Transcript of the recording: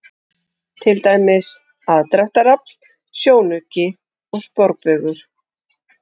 Til dæmis: aðdráttarafl, sjónauki og sporbaugur.